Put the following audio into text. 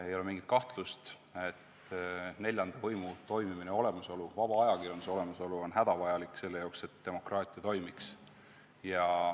Ei ole mingit kahtlust, et neljanda võimu toimimine ja olemasolu, vaba ajakirjanduse olemasolu on hädavajalik selle jaoks, et demokraatia toimiks.